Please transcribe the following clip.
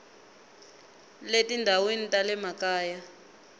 le tindhawini ta le makaya